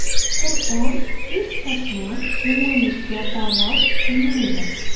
Qur’on hech qachon yomonlikka da’vat qilmaydi.